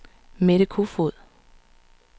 Mette Kofoed